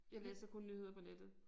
Jeg læser kun nyheder på nettet